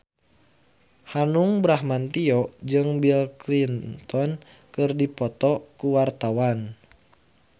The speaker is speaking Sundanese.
Hanung Bramantyo jeung Bill Clinton keur dipoto ku wartawan